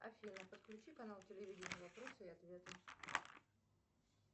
афина подключи канал телевидения вопросы и ответы